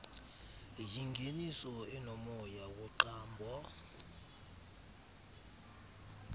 yingeniso enomoya woqambo